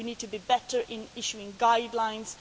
We need to be better at issuing guidelines.